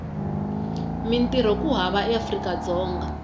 mintirho ku hava eafrika dzonga